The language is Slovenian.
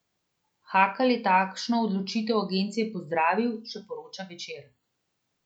Hakl je takšno odločitev agencije pozdravil, še poroča Večer.